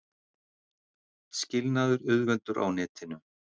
Skilnaður auðveldur á netinu